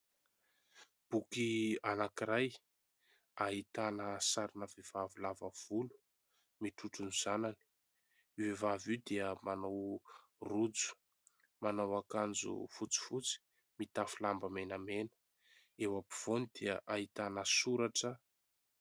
Boky anankiray ahitana sarina vehivavy lava volo mitrotro ny zanany. Io vehivavy io dia manao rojo, manao akanjo fotsifotsy, mitafy lamba menamena. Eo ampovoany dia ahitana soratra.